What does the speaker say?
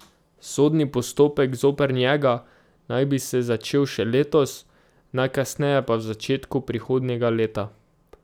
Sodni postopek zoper njega naj bi se začel še letos, najkasneje pa v začetku prihodnjega leta.